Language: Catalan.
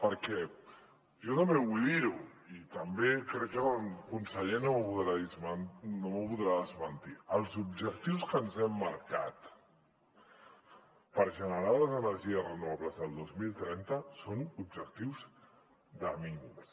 perquè jo també vull dir ho i també crec que el conseller no m’ho podrà desmentir els objectius que ens hem marcat per generar les energies renovables del dos mil trenta són objectius de mínims